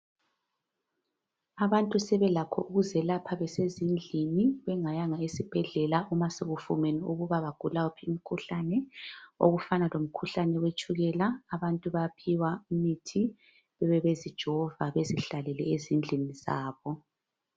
Abantu sebelakho ukuzelapha besezindlini bengayanga esibhedlela uma sekufumene ukuthi bagula wuphi ,umkhuhlane okufana lomkhuhlane wetshukela. Abantu bayaphiwa imithi bebe bezijova bezihlalele ezindlini zabo